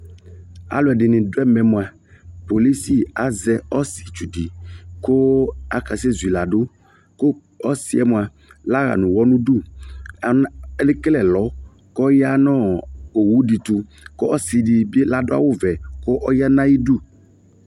Aluɛde ne do ɛmɛ moa, kpolisi azɛ ɔsetsu de ko akasɛ zui lado ko ɔsiɛ moa laya no uwɔ nudu, ana, le kele ɛlɔ kp ya no owu de to ko ɔse de be lado awuvɛ ko ɔya na ayidu